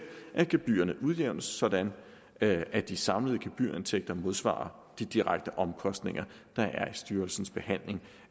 at gebyrerne udjævnes sådan at at de samlede gebyrindtægter modsvarer de direkte omkostninger der er i styrelsens behandling